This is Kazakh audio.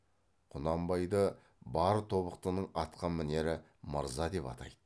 құнанбайды бар тобықтының атқа мінері мырза деп атайды